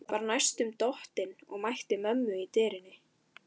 Var næstum dottinn og mætti mömmu í dyrunum.